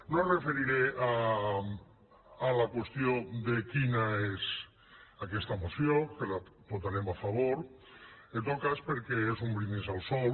no em referiré a la qüestió de quina és aquesta moció que la votarem a favor en tot cas perquè és un brindis al sol